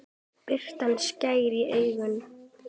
Birtan skar í augun.